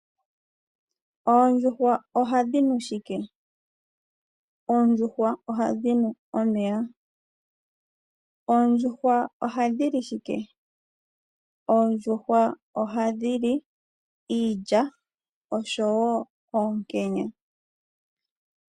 Oondjuhwa ohadhi nu shike? Oondjuhwa ohadhi nu omeya. Oondjuhwa ohadhi li shike? Oondjuhwa ohadhi li iilya osho woo oonkenya.